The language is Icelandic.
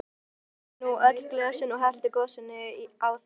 Þeir skoluðu nú öll glösin og helltu gosinu á þau.